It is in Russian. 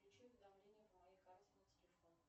включи уведомления по моей карте на телефон